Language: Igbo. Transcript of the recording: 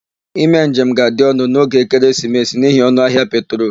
Ime njem ga-adị ọnụ n'oge ekeresimesi n'ihi ọnụahịa petrol.